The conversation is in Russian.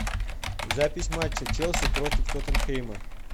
запись матча челси против тоттенхэма